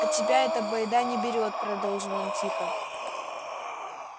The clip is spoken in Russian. а тебя эта байда не берет продолжил он тихо